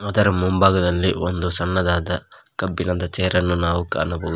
ಇದರ ಮುಂಭಾಗದಲ್ಲಿ ಒಂದು ಸಣ್ಣದಾದ ಕಬ್ಬಿಣದ ಚೇರ್ ಅನ್ನು ನಾವು ಕಾಣಬಹುದು.